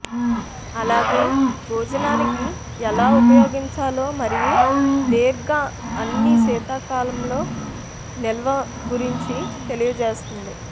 అలాగే భోజనానికి ఎలా ఉపయోగించాలో మరియు దీర్ఘ అన్ని శీతాకాలంలో నిల్వ గురించి తెలియజేస్తుంది